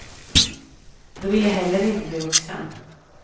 Då vill jag heller inte bli vuxen.